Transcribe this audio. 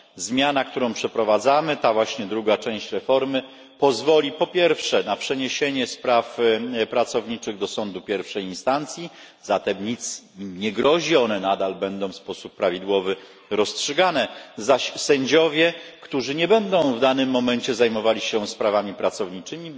Zmiana, jaką przeprowadzamy, ta właśnie druga część reformy, pozwoli po pierwsze na przeniesienie spraw pracowniczych do Sądu pierwszej instancji zatem nic im nie grozi, nadal będą rozstrzygane w sposób prawidłowy a po drugie na przydzielanie sędziom, którzy nie będą w danym momencie zajmowali się sprawami pracowniczymi,